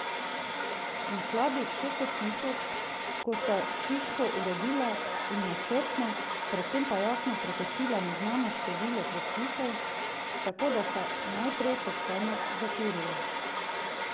In slabih šeststo tisoč, ko sta hiško uredila in načrtno, povsem jasno prekršila neznano število predpisov, tako da sta najprej pošteno zakurila.